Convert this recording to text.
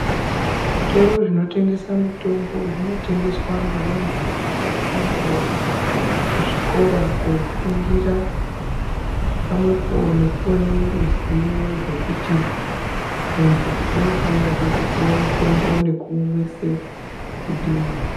Zvitoro zvinotengesa mutombo zvinotengeswa ngevantu vakatoendawo kuzvikora koofundira pamwe po nekuve neruzivo rwokuti muntu unofanirwe kupuwa mutombo nekumwise kudini.